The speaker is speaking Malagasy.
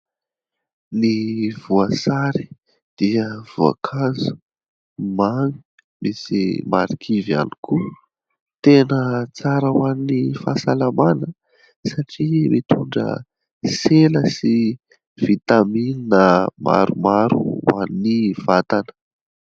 Ny voasary dia voankazo mamy misy marikivy ihany koa. Tena tsara ho an' ny fahasalamana satria mitondra sela sy vitamina maromaro ho an' ny vatana.